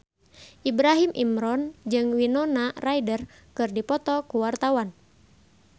Ibrahim Imran jeung Winona Ryder keur dipoto ku wartawan